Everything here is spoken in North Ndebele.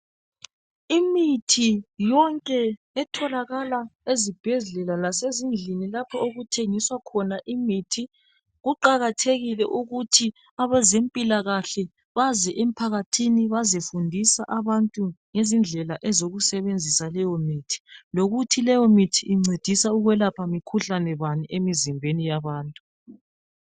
Imithi yonke itholakala ezibhedlela lasezindlini lapho okuthengiswa khona imithi. Kuqakathekile ukuthi abezempilakahle baze emphakathini bazefundisa abantu ngezindlela ezokusebenzisa leyo mithi, lokuthi leyomithi incedisa ukwelapha mikhuhlane bani emizimbeni yabantu.